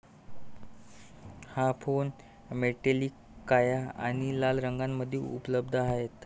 हा phone metallic काळा आणि लाल रंगामध्ये उपलब्ध आहे.